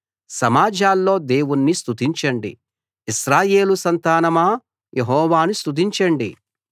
సమాజాల్లో దేవుణ్ణి స్తుతించండి ఇశ్రాయేలు సంతానమా యెహోవాను స్తుతించండి